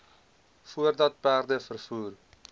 voordat perde vervoer